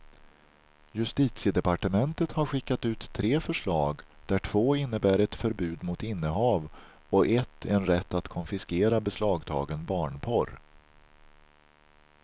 Justitiedepartementet har skickat ut tre förslag, där två innebär ett förbud mot innehav och ett en rätt att konfiskera beslagtagen barnporr.